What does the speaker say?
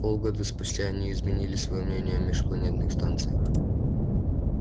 полгода спустя они изменили своё мнение о межпланетных станциях